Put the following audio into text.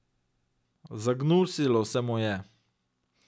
Zagnusilo se mu je.